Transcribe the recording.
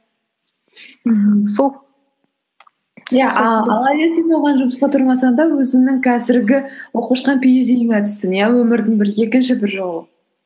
мхм сол иә а алайда сен оған жұмысқа тұрмасаң да өзіңнің қазіргі оқып жатқан пиэйчди іңе түстің иә өмірдің бір екінші бір жолы